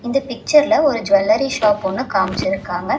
இந்த பிச்சர்ல ஒரு ஜுவல்லரி ஷாப் ஒன்னு காமிச்சிருக்காங்க.